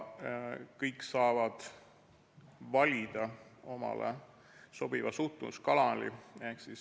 Kõik saavad valida omale sobiva suhtluskanali.